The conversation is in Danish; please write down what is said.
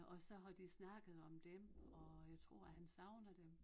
Og så har de snakket om dem og jeg tror han savner dem